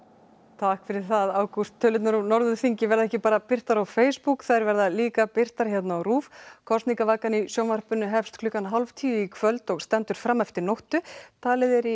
takk fyrir það Ágúst tölurnar úr Norðurþingi verða ekki bara birtar á Facebook þær verða líka birtar hérna á RÚV kosningavakan í sjónvarpinu hefst klukkan hálf tíu í kvöld og stendur fram eftir nóttu talið er í